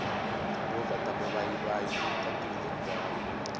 timovha ta mavayivayi ti tatile ndhawu